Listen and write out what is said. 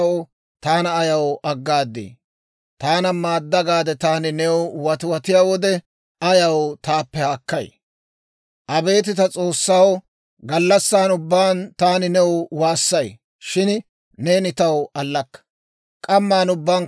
Abeet ta S'oossaw, gallassan ubbaan taani new waassay; shin neeni taw allakka. K'amman ubbankka new waassay, shin woppaa demmikke.